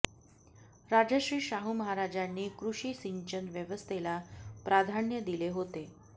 राजर्षी शाहू महाराजांनी कृषी सिंचन व्यवस्थेला प्राधान्य दिले होते